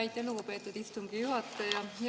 Aitäh, lugupeetud istungi juhataja!